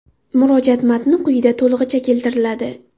Murojaat matni quyida to‘lig‘icha keltiriladi.